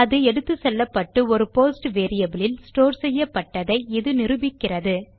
அது எடுத்துச்செல்லப்பட்டு ஒரு போஸ்ட் வேரியபிள் இல் ஸ்டோர் செய்யப்பட்டதை இது நிரூபிக்கிறது